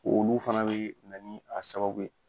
Olu fana bɛ na ni a sababu ye.